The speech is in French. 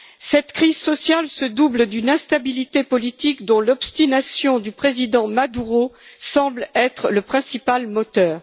Cette crise sociale se double d'une instabilité politique dont l'obstination du Président Maduro semble être le principal moteur.